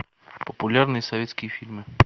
популярные советские фильмы